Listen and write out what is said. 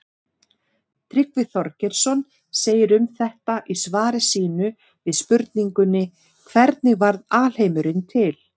Tryggvi Þorgeirsson segir um þetta í svari sínu við spurningunni Hvernig varð alheimurinn til?